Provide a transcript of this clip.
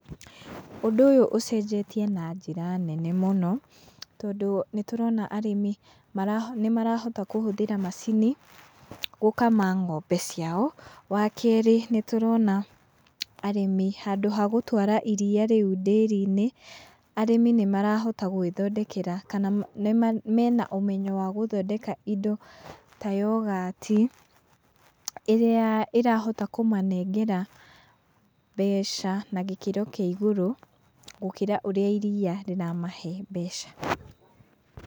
Ũndũ ũyũ ũcenjetie na njĩra nene mũno tondũ nĩtũrona arĩmi nĩmarahota kũhũthĩra macini gũkama ng'ombe ciao. Wa kerĩ, nĩtũrona arĩmi handũ ha gũtwara iria rĩu ndĩri-inĩ, arĩmi nĩmarahota gwĩthondekera, kana mena ũmenyo wa gũthondeka indo ta yogati ĩrĩa ĩrahota kũmanengera mbeca na gĩkĩro kĩa igũrũ gũkĩra ũrĩa iriya rĩramahe mbeca.